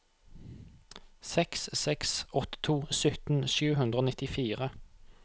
seks seks åtte to sytten sju hundre og nittifire